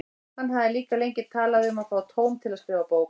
Hann hafði líka lengi talað um að fá tóm til að skrifa bók.